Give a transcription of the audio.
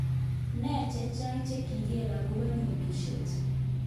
Ne chechang chekigen okobo nyosutyet?